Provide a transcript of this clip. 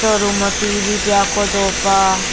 soh room ho tv peh aku do pah.